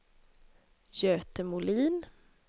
Göte Molin